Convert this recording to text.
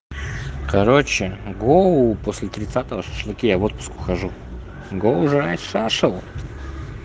короче гоу после тридцатого шашлыки я в отпуск ухожу гоу жрать шашел